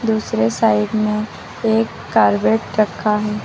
दूसरे साइड में एक कारबेट रखा है।